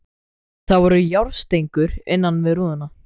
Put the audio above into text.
Það voru járnstengur innan við rúðuna.